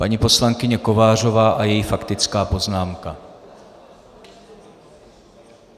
Paní poslankyně Kovářová a její faktická poznámka.